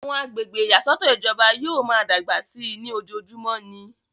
àwọn agbègbè ìyàsọ́tọ̀ ìjọba yóò máa dàgbà sí i ní ojojúmọ́ ni